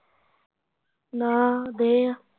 ਨਾ ਗਏ ਆ